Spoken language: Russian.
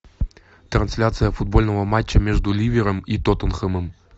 трансляция футбольного матча между ливером и тоттенхэмом